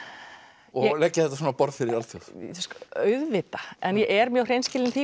og leggja þetta svona á borð fyrir alþjóð auðvitað en ég er mjög hreinskilin týpa